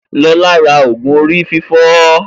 Lọlá ra ògù orí fífọ́